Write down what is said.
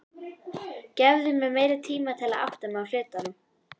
Gefðu mér meiri tíma til að átta mig á hlutunum.